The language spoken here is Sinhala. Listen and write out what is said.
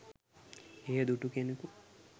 එය දුටු කෙනකු